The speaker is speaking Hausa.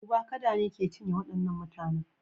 Duba! kada ne ke cinye waɗannan mutanen.